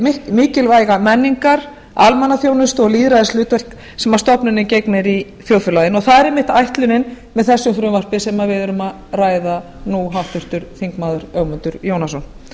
hið mikilvæga menningar almannaþjónustu og lýðræðishlutverk sem stofnunin gegnir í þjóðfélaginu það er einmitt ætlunin með þessu frumvarpi sem við erum að ræða nú háttvirtur þingmaður ögmundur jónasson